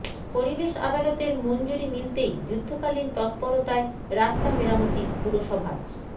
পরিবেশ আদালতের মঞ্জুরি মিলতেই যুদ্ধকালীন তত্পরতায় রাস্তা মেরামতি পুরসভার